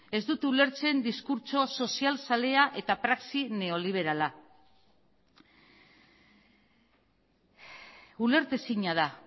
ez dute ulertzen diskurtso sozial zalea eta praxi neoliberala ulertezina da